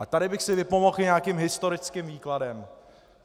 A tady bych si vypomohl i nějakým historickým výkladem.